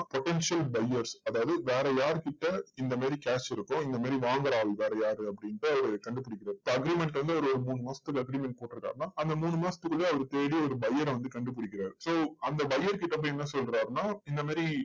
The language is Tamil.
potential buyers அதாவது வேற யாரு கிட்ட இந்த மாதிரி cash இருக்கோ, இந்த மாதிரி வாங்குற ஆள் வேற யாரு அப்படின்டு அவரு கண்டுபிடிக்கிறார் so agreement வந்து இப்போ ஒரு மூணு மாசத்துக்கு agreement போட்டு இருக்கிறாருன்னா, அந்த மூணு மாசத்துக்குள்ள அவர் தேடி ஒரு buyer அ வந்து கண்டுபிடிக்கிறார் so அந்த buyer கிட்ட வந்து என்ன சொல்றாருன்னா இந்த மாதிரி